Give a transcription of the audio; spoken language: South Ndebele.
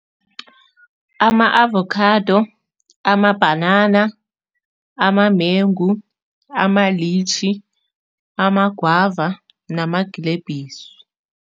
Ama-avokhado, amabhanana, amamengu, amalitjhi, amagwava namagilebhisi.